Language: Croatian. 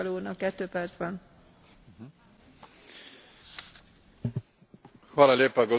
Gospođo potpredsjednice, poštovana visoka predstavnice Mogherini, hvala na Vašoj izjavi.